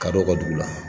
Ka dɔ ka dugu la